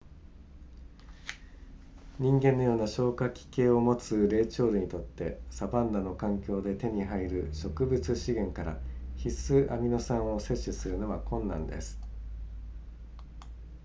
人間のような消化器系を持つ霊長類にとってサバンナの環境で手に入る植物資源から必須アミノ酸を摂取するのは困難です